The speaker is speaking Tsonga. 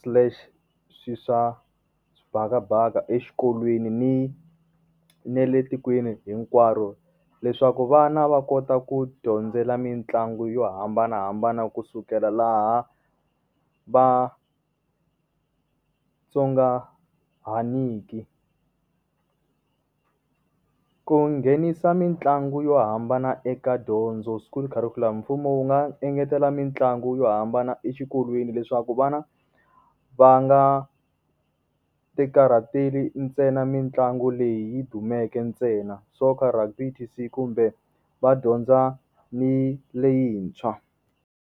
slash swilo swa xibakabaka exikolweni ni na le tikweni hinkwaro, leswaku vana va kota ku dyondzela mitlangu yo hambanahambana kusukela laha va tsongahaniki. Ku nghenisa mitlangu yo hambana eka dyondzo school curriculum mfumo wu nga engetela mitlangu yo hambana exikolweni leswaku vana, va nga ti karhateli ntsena mitlangu leyi yi dumeke ntsena. Soccer, rugby kumbe va dyondza ni leyintshwa.